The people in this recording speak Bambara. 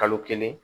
Kalo kelen